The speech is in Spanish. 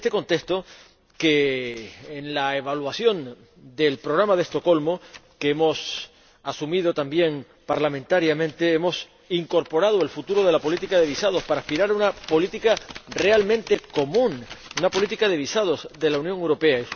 Y es en este contexto que, en la evaluación del Programa de Estocolmo —que hemos asumido también parlamentariamente—, hemos incorporado el futuro de la política de visados para aspirar a una política realmente común, una política de visados de la Unión Europea.